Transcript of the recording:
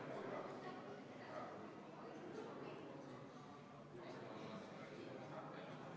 21 000 eurot inimese surma korral ei ole komisjoni liikme Annely Akkermanni sõnul märkimisväärne raha, arvestades matmiskulusid ning elus toimuvaid ümberkorraldusi.